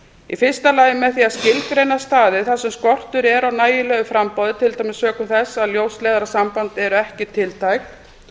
í fyrsta lagi með því að skilgreina staði þar sem skortur er á nægilegu framboði til dæmis sökum þess að ljósleiðarasambönd eru ekki tiltæk